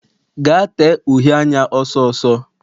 Gaa tee uhe anya ọsọ ọsọ!